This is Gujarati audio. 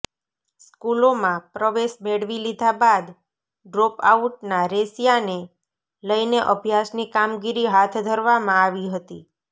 સ્કુલોમાં પ્રવેશ મેળવી લીધા બાદ ડ્રોપ આઉટના રેશિયાને લઇને અભ્યાસની કામગીરી હાથ ધરવામાં આવી હતી